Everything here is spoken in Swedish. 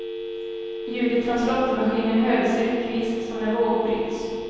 Ljudet från slåttermaskinen hördes ryckvis, som när vågor bryts.